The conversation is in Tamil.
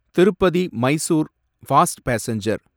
Tirupati Mysore fast passenger